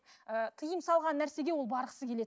ііі тыйым салған нәрсеге ол барғысы келеді